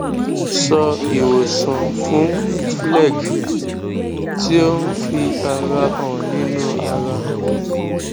so iwosan fún phlegm ti o n fi ara han ninu ara